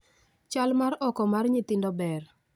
Chal mar oko mar nyithindo ber